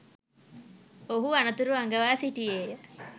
ඔහු අනතුරු අඟවා සිටියේය